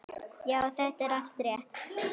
Já, þetta er allt rétt.